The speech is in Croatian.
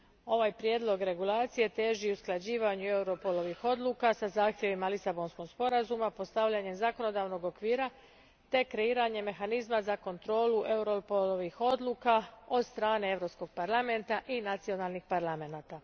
Ovaj prijedlog regulacije teži usklađivanju Europolovih odluka sa zahtjevima Lisabonskog sporazuma, postavljanju zakonodavnog okvira te kreiranju mehanizma za kontrolu Europolovih odluka od strane Europskog parlamenta i nacionalnih parlamenata.